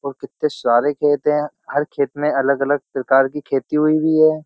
और कितने सारे खेत हैं। हर खेत में अलग-अलग प्रकार की खेती हुई हुई है।